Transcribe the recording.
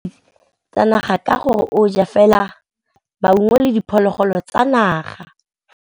Tshekô o rata ditsanaga ka gore o ja fela maungo le diphologolo tsa naga.